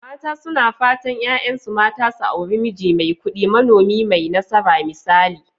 Mata suna fatan 'ya'yansu mata su auri miji mai kudi, manomi mai nasara misali.